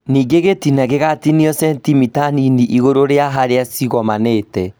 Nĩngĩ gĩtina gĩgatinio centimita Nini igũrũ rĩa harĩa cigomanĩte